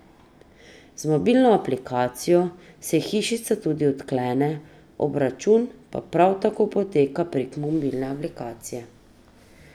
Z mobilno aplikacijo se hišica tudi odklene, obračun pa prav tako poteka prek mobilne aplikacije.